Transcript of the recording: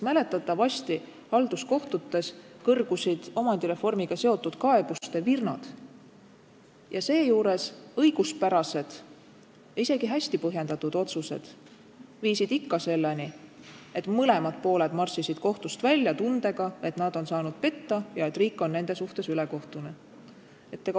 Mäletatavasti halduskohtutes kõrgusid omandireformiga seotud kaebuste virnad ja õiguspärased ja isegi hästi põhjendatud otsused viisid ikka selleni, et mõlemad pooled marssisid kohtust välja tundega, et nad on saanud petta ja et riik on nende suhtes ülekohtune.